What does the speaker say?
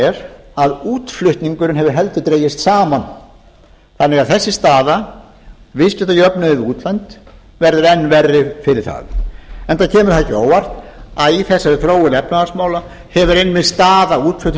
er að útflutningurinn hefur heldur dregist saman þannig að þessi staða viðskiptajöfnuður við útlönd verður enn verri fyrir það enda kemur það ekki á óvart að í þessari þróun efnahagsmála hefur einmitt staða